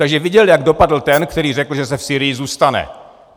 Takže viděl, jak dopadl ten, který řekl, že se v Sýrii zůstane.